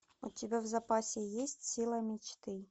у тебя в запасе есть сила мечты